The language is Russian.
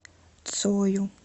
цою